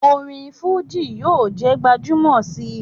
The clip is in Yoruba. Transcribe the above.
Orin fuji yoo je gbajumo si